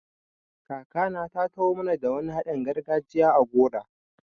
Kakana ta taho mana da wani haɗin gargajiya a gora.